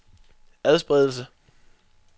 adspredelse